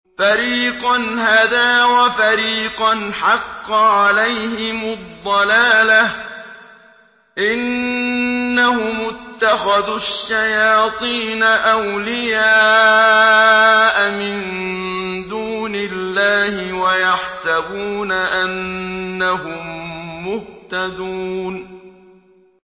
فَرِيقًا هَدَىٰ وَفَرِيقًا حَقَّ عَلَيْهِمُ الضَّلَالَةُ ۗ إِنَّهُمُ اتَّخَذُوا الشَّيَاطِينَ أَوْلِيَاءَ مِن دُونِ اللَّهِ وَيَحْسَبُونَ أَنَّهُم مُّهْتَدُونَ